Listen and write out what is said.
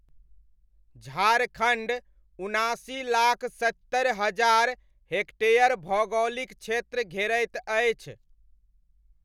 झारखण्ड उनासी लाख सत्तरि हजार हेक्टेयर भौगोलिक क्षेत्र घेरैत अछि।